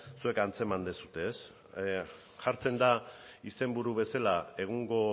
zuek antzeman dezute ez jartzen da izenburu bezela egungo